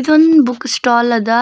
ಇದೊಂದ್ book stall ಅದ